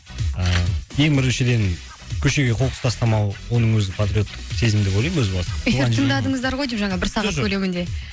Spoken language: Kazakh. ыыы ең біріншіден көшеге қоқыс тастамау оның өзі патриоттық сезім деп ойлаймын өз басым эфир тыңдадыңыздар ғой деймін жаңа бір сағат көлемінде жоқ